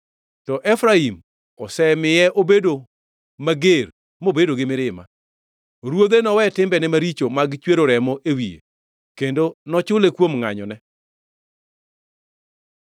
To Efraim osemiye obedo mager mobedo gi mirima; Ruodhe nowe timbene maricho mag chwero remo e wiye, kendo nochule kuom ngʼanyone.